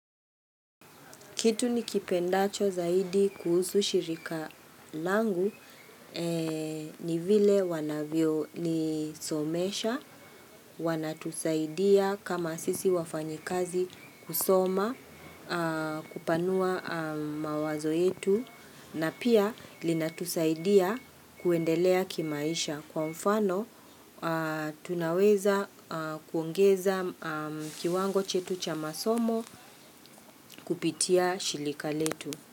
Kitu nikipendacho zaidi kuhusu shirika langu ni vile wanavyonisomesha. Wana tusaidia kama asisi wafanyikazi kusoma, kupanua mawazo yetu, na pia linatusaidia kuendelea kimaisha kwa mfano. Tunaweza kuongeza kiwango chetu cha masomo kupitia shirika letu.